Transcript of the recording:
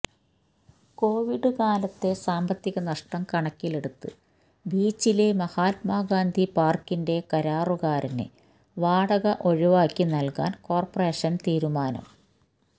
Covid കാലത്തെ സാമ്പത്തികനഷ്ടം കണക്കിലെടുത്ത് ബീച്ചിലെ മഹാത്മാഗാന്ധി പാര്ക്കിന്റെ കരാറുകാരന് വാടക ഒഴിവാക്കി നല്കാന് കോര്പ്പറേഷന് തീരുമാനം